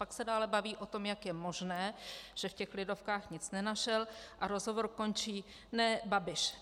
Pak se ale baví o tom, jak je možné, že v těch Lidovkách nic nenašel, a rozhovor končí: Ne, Babiš.